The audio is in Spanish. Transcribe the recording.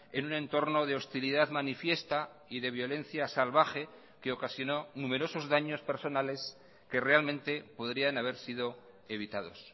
en un entorno de hostilidad manifiesta y de violencia salvaje que ocasionó numerosos daños personales que realmente podrían haber sido evitados